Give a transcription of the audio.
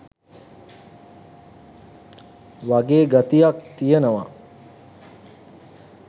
වගේ ගතියක් තියෙනවා.